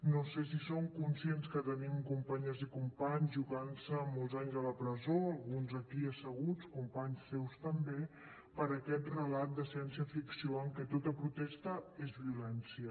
no sé si son conscients que tenim companyes i companys jugant se molts anys a la presó alguns aquí asseguts companys seus també per aquest relat de ciència ficció en què tota protesta és violència